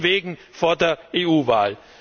Also von wegen vor der EU Wahl!